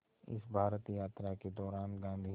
इस भारत यात्रा के दौरान गांधी ने